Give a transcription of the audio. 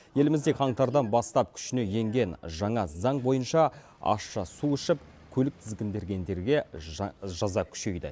елімізде қаңтардан бастап күшіне енген жаңа заң бойынша ащы су ішіп көлік тізгіндегендерге жаза күшейді